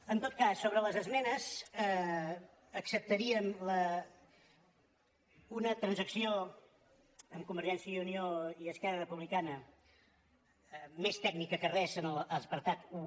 en tot cas sobre les esmenes acceptaríem una trans·acció amb convergència i unió i esquerra republica·na més tècnica que res en l’apartat un